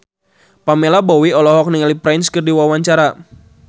Pamela Bowie olohok ningali Prince keur diwawancara